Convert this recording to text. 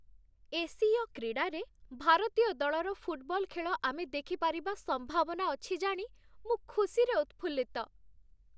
ଏସୀୟ କ୍ରୀଡ଼ାରେ ଭାରତୀୟ ଦଳର ଫୁଟବଲ ଖେଳ ଆମେ ଦେଖିପାରିବା ସମ୍ଭାବନା ଅଛି ଜାଣି ମୁଁ ଖୁସିରେ ଉତ୍ଫୁଲ୍ଲିତ।